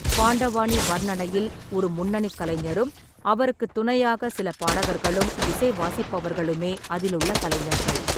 பாண்டவானி வர்ணனையில் ஒரு முன்னணிக் கலைஞரும் அவருக்குத் துணையாக சில பாடகர்களும் இசைவாசிப்பவர்களுமே அதிலுள்ள கலைஞர்கள்.